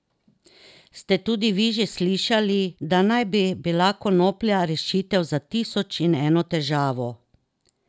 Ste tudi vi že slišali, da naj bi bila konoplja rešitev za tisoč in eno težavo?